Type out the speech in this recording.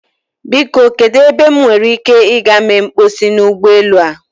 Biko kedu ebe m nwere ike ị gaa mee mkposi n'ụgbọelu a?